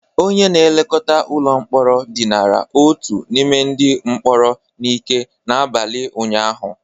Onye na-elekọta ụlọ mkpọrọ dinara otu n'ime ndị mkpọrọ n'ike n'abalị ụnyaahụ